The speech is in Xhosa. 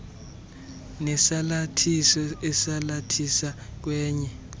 nesalathiso esalathisa kwenye